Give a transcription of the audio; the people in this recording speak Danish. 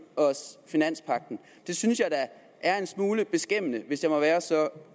os finanspagten det synes jeg da er en smule beskæmmende hvis jeg må være så